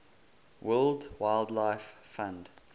world wildlife fund